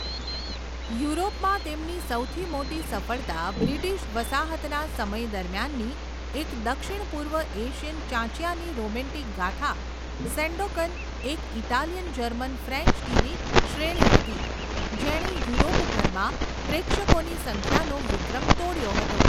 યુરોપમાં, તેમની સૌથી મોટી સફળતા બ્રિટિશ વસાહતના સમય દરમિયાનની એક દક્ષિણપૂર્વ એશિયન ચાંચિયાની રોમેન્ટિક ગાથા, સેંડોકન, એક ઇટાલિયન જર્મન ફ્રેન્ચ ટીવી શ્રેણી હતી જેણે યુરોપભરમાં પ્રેક્ષકોની સંખ્યાનો વિક્રમ તોડ્યો હતો.